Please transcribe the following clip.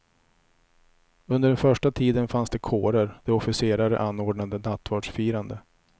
Under den första tiden fanns det kårer, där officerare anordnade nattvardsfirande.